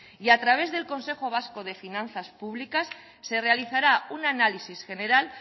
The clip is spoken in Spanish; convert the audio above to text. y a través del consejo vasco de finanzas públicas se realizará un análisis general